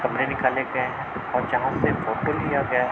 कमरे निकाले गए हैं और जहाँ से फोटो लिया गया --